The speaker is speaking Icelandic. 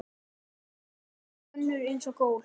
Og þvílík og önnur eins gól.